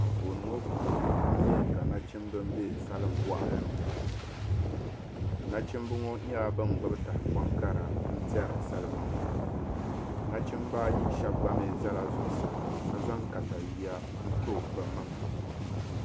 Anfooni ŋɔ puuni n nya ka nachimba m-be salimbɔɣili ni. Nachimba ŋɔ nyɛla ban gbibi tahapɔŋ kara n-tɛri salima ŋɔ. Nachimba ayi shɛba gba mi zala zuɣusaa ka zaŋ takayua n-to bɛ maŋa.